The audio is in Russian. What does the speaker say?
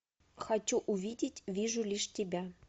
хочу увидеть вижу лишь тебя